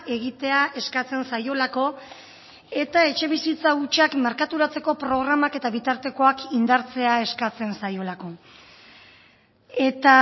egitea eskatzen zaiolako eta etxebizitza hutsak merkaturatzeko programak eta bitartekoak indartzea eskatzen zaiolako eta